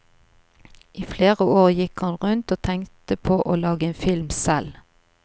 I flere år gikk han rundt og tenkte på å lage en film selv.